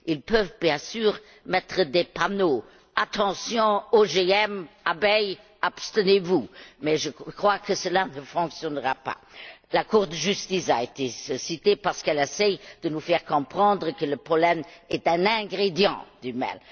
Ils peuvent, bien sûr, mettre des panneaux Attention OGM, abeilles abstenez vous mais je crois que cela ne fonctionnera pas. La Cour de justice a été citée parce qu'elle essaie de nous faire comprendre que le pollen est un ingrédient du miel.